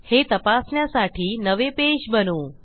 हे तपासण्यासाठी नवे पेज बनवू